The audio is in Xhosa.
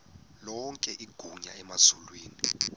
lonke igunya emazulwini